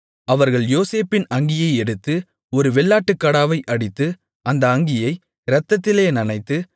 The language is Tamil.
அவர்கள் யோசேப்பின் அங்கியை எடுத்து ஒரு வெள்ளாட்டுக்கடாவை அடித்து அந்த அங்கியை இரத்தத்திலே நனைத்து